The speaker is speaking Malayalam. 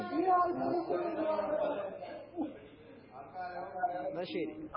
എന്നാ ശെരി